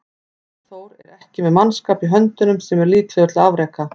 Jón Þór er ekki með mannskap í höndunum sem er líklegur til afreka.